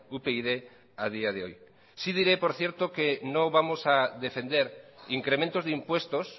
upyd a día de hoy sí diré por cierto que no vamos a defender incrementos de impuestos